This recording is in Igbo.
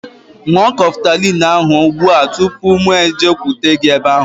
Ṅụọ Kọftalin ahu ụgbụa tụpụ mụ ejekwute gị ebe ahu